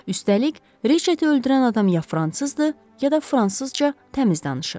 Üstəlik Reşeti öldürən adam ya fransızdır, ya da fransızca təmiz danışır.